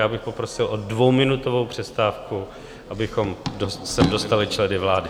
Já bych poprosil o dvouminutovou přestávku, abychom sem dostali členy vlády.